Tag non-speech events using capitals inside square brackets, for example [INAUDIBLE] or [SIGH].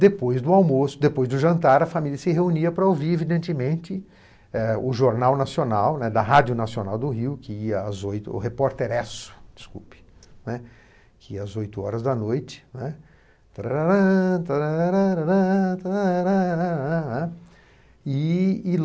Depois do almoço, depois do jantar, a família se reunia para ouvir, evidentemente, o Jornal Nacional, da Rádio Nacional do Rio, que ia às oito horas da noite. [SINGS] E e